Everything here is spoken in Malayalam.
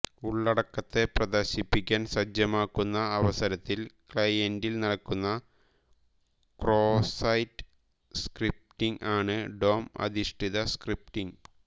ഉള്ളടക്കത്തെ പ്രദർശിപ്പിക്കാൻ സജ്ജമാക്കുന്ന അവസരത്തിൽ ക്ലയന്റിൽ നടക്കുന്ന ക്രോസ്സൈറ്റ് സ്ക്രിപ്റ്റിങ് ആണ് ഡോംഅധിഷ്ടിത സ്ക്രിപ്റ്റിങ്